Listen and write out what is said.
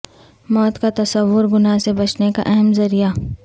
موت کا تصور گناہ سے بچنے کا اہم ذریعہ